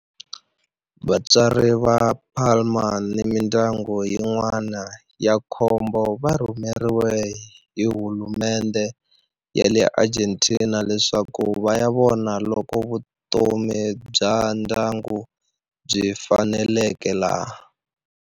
Vatswari va Palma ni mindyangu yin'wana ya nkombo va rhumeriwe hi hulumendhe ya le Argentina leswaku va ya vona loko vutomi bya ndyangu byi faneleka laha.